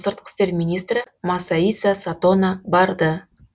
сыртқы істер министрі масаиса сатона барды